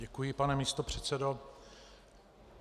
Děkuji, pane místopředsedo.